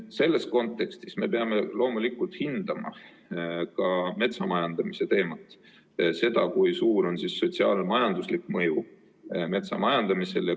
Selles kontekstis me peame loomulikult hindama ka metsamajandamise teemat, seda, kui suur on metsamajandamise sotsiaal-majanduslik mõju.